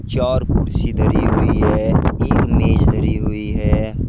चार कुर्सी धरी हुई है एक मेज धरी हुई है।